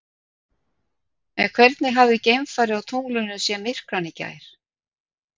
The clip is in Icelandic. En hvernig hefði geimfari á tunglinu séð myrkvann í gær?